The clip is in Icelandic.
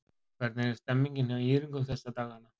Hvernig er stemningin hjá ÍR-ingum þessa dagana?